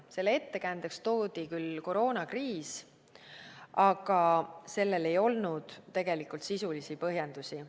Selle ettekäändeks toodi küll koroonakriis, aga sellel ei olnud tegelikult sisulisi põhjendusi.